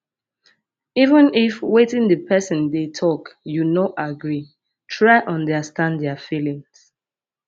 even if wetin di person dey talk you no agree try understand their feelings